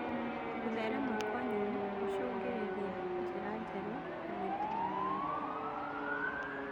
Gũtherema Kwa nyeni gũcũngĩrĩria njĩra njerũ na mĩthemba mĩerũ